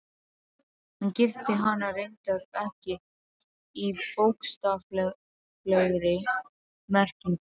Hann gifti hana reyndar ekki í bókstaflegri merkingu.